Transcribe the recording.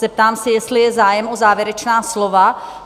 Zeptám se, jestli je zájem o závěrečná slova?